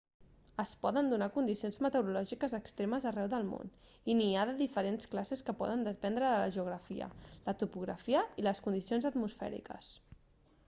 es poden donar condicions meteorològiques extremes arreu del món i n'hi ha de diferents classes que poden dependre de la geografia la topografia i les condicions atmosfèriques